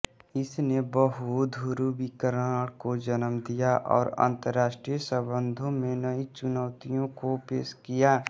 इसने बहुध्रुवीकरण को जन्म दिया और अंतरराष्ट्रीय संबंधों में नई चुनौतियों को पेश किया